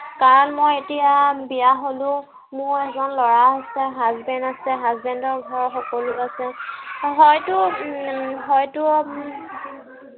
কাৰন মই এতিয়া বিয়া হলো। মোৰ এজন লৰা আছে। huasband আছে। husband ৰ ঘৰৰ সকলো আছে। হয়তো, উম হয়তো উম